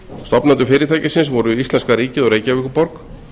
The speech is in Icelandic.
stofnendur fyrirtækisins voru íslenska ríkið og reykjavíkurborg